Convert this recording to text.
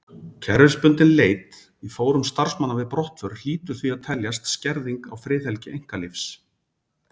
Kerfisbundin leit í fórum starfsmanna við brottför hlýtur því að teljast skerðing á friðhelgi einkalífs.